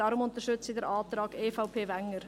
Deshalb unterstütze ich den Antrag EVP/Wenger.